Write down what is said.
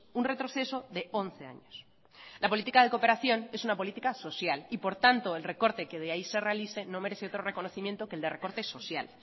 un retroceso de once años la política de cooperación es una política social y por tanto el recorte que de ahí se realice no merece otro reconocimiento que el de recorte social